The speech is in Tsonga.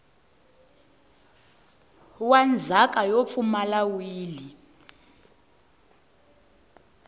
wa ndzhaka yo pfumala wili